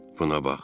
Buna bax.